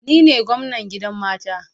Ni ne gwamnan gidan mata